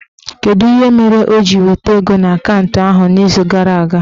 Kedụ ihe mere o jiri weta ego n'akantụ ahụ n'izuụka gara aga?